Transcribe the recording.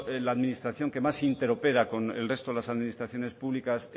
la administración que más interopera con el resto de las administraciones públicas